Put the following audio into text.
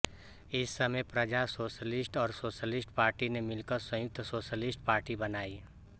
इस समय प्रजा सोशलिस्ट और सोशलिस्ट पार्टी ने मिलकर संयुक्त सोशलिस्ट पार्टी बनाई